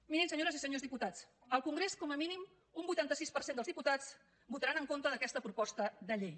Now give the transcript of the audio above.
mirin senyores i senyors diputats al congrés com a mínim un vuitanta sis per cent dels diputats votaran en contra d’aquesta proposta de llei